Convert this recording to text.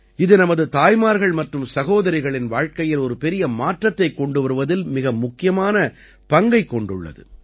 இது நமது தாய்மார்கள் மற்றும் சகோதரிகளின் வாழ்க்கையில் ஒரு பெரிய மாற்றத்தைக் கொண்டு வருவதில் மிக முக்கியமான பங்கைக் கொண்டுள்ளது